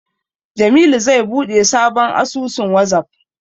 Jamilu zai buɗe sabon asusun Wazaf.